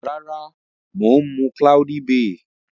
Rara, maa mu cloudy bay.